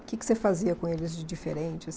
O que que você fazia com eles de diferente?